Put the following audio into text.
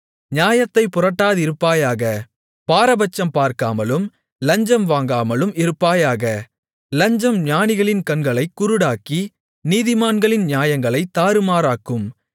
நியாயத்தைப் புரட்டாதிருப்பாயாக பாரபட்சம் பார்க்காமலும் லஞ்சம் வாங்காமலும் இருப்பாயாக லஞ்சம் ஞானிகளின் கண்களைக் குருடாக்கி நீதிமான்களின் நியாயங்களைத் தாறுமாறாக்கும்